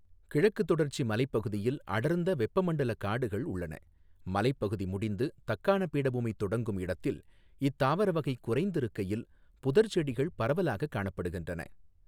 கிழக்குத் தொடர்ச்சி மலைப் பகுதியில் அடர்ந்த வெப்பமண்டலக் காடுகள் உள்ளன, மலைப் பகுதி முடிந்து தக்காண பீடபூமி தொடங்கும் இடத்தில் இத்தாவரவகை குறைந்திருக்கையில் புதர் செடிகள் பரவலாகக் காணப்படுகின்றன.